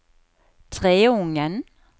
Treungen